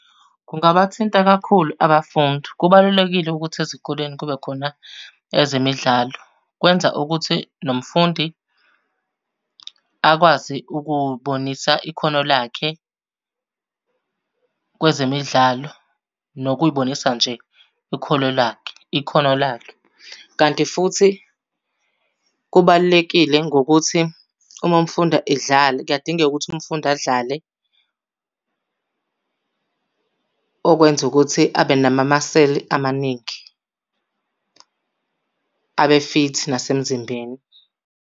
Kungabathinta kakhulu abafundi. Kubalulekile ukuthi ezikoleni kube khona ezemidlalo. Kwenza ukuthi nomfundi akwazi ukubonisa ikhono lakhe kwezemidlalo, nokuy'bonisa nje ikholo lakhe, ikhono lakhe. Kanti futhi kubalulekile ngokuthi uma umfundi edlala kuyadingeka ukuthi umfundi adlale okwenza ukuthi abe namamaseli amaningi, abe fithi nasemzimbeni.